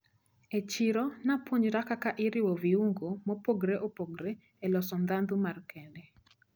E chiro napuonjra kaka iriwo viungo maopogre opogre eloso ndhadhu ma kende.